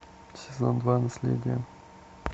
сезон два наследие